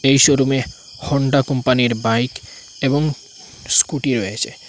এই শোরুমে হোন্ডা কোম্পানির বাইক এবং স্কুটি রয়েছে।